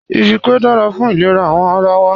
Ìbẹ́pẹ dára fún ilẹ̀rà awọn ara wa